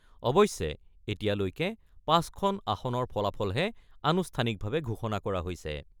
অৱশ্যে, এতিয়ালৈকে ৫খন আসনৰ ফলাফলহে আনুষ্ঠানিকভাৱে ঘোষণা কৰা হৈছে।